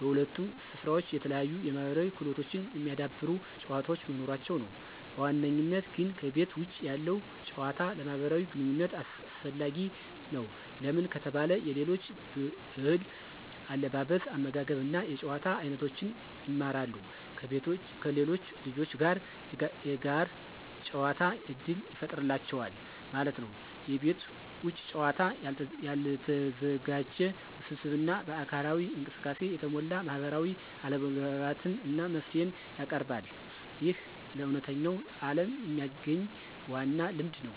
በሁለቱም ስፍራዎች የተለያዩ የማህበራዊ ክህሎቶችን የሚያዳብሩ ጨዋታዎች መኖራቸው ነው። በዋነኝነት ግን ከቤተ ውጭ ያለው ጭዋታ ለማህብራዊ ግንኝነት አሰፈላጊ ነው። ለምን ከተባለ የሌሎች ብህል አለባበስ አመጋገብ እና የጭዋታ አይኖቶችን ይማራሉ። ከሌሎች ልጆች ጋር የጋር ጨዋታ እድል ይፍጠሩላቸዋል ማለት ነው። የቤት ውጭ ጨዋታ ያልተዘጋጀ፣ ውስብስብ እና በአካላዊ እንቅስቃሴ የተሞላ ማህበራዊ አለመግባባትን እና መፍትሄን ያቀርባል። ይህ ለእውነተኛው ዓለም የሚያግኝ ዋና ልምድ ነው።